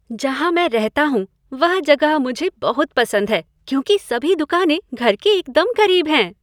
जहाँ मैं रहता हूँ वह जगह मुझे बहुत पसंद है क्योंकि सभी दुकानें घर के एकदम करीब हैं।